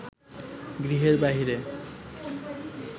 গৃহের বাহিরে